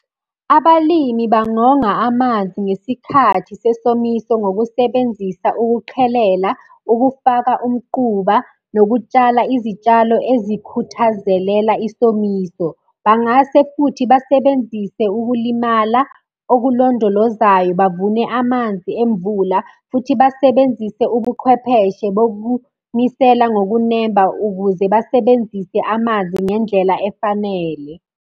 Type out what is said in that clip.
Abalimi bangonga amanzi ngesikhathi sesomiso ngokusebenzisa ukuqhelela, ukufaka umquba, nokutshala izitshalo ezikhuthazelela isomiso. Bangase futhi basebenzise ukulimala okulondolozayo, bavune amanzi emvula, futhi basebenzise ubuqhwepheshe bokunisela ngokunemba ukuze basebenzise amanzi ngendlela efanele.